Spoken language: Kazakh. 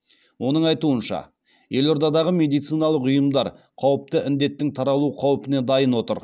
оның айтуынша елордадағы медициналық ұйымдар қауіпті індеттің таралу қаупіне дайын отыр